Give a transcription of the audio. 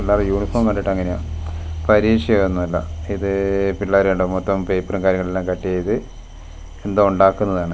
പിള്ളാരെ യൂണിഫോം കണ്ടിട്ടങ്ങനെയാ പരീക്ഷയൊന്നുവല്ല ഇത് - പിള്ളാര് കണ്ടോ മൊത്തോം പേപ്പറൂം കാര്യങ്ങളും എല്ലാം കട്ട് ചെയ്ത് എന്തോ ഒണ്ടാക്കുന്നതാണ്.